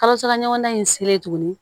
Kalosara ɲɔgɔnna in selen tuguni